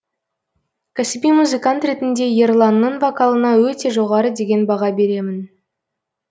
кәсіби музыкант ретінде ерланның вокалына өте жоғары деген баға беремін